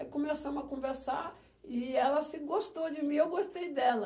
Aí começamos a conversar e ela se gostou de mim, eu gostei dela.